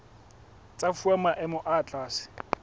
tsa fuwa maemo a tlase